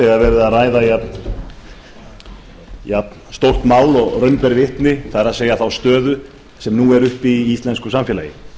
verið er að ræða jafnstórt mál og raun ber vitni það er þá stöðu sem nú er uppi í íslensku samfélagi ég